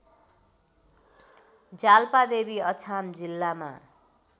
जाल्पादेवी अछाम जिल्लामा